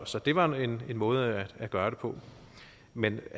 så det var en måde at gøre det på men